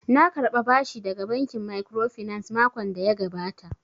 Na karɓa bashi daga bankin microfinance makon da ya gabata